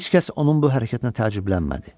Heç kəs onun bu hərəkətinə təəccüblənmədi.